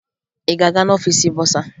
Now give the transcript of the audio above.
Ị ga-aga n'ọfiisi bọsaa?